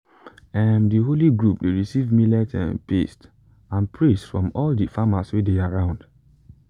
um the holy group dey receive millet um paste and praise from all the farmers wey dey around.